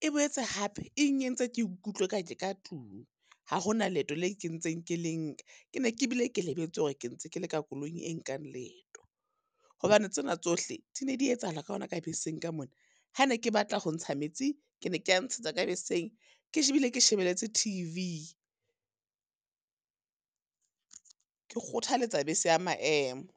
e boetse hape eng entse ke ikutlwe ka ke ka tlung. Ha hona leeto le ntseng ke le nka. Ke ne ke bile ke lebetse hore ke ntse ke le ka koloing e nkang leeto, hobane tsena tsohle di ne di etsahala ka hona ka beseng ka mona. Ha ne ke batla ho ntsha metsi, ke ne ke a ntshetsa ka beseng, ke ke shebeletse T_V. Ke kgothaletsa bese ya maemo.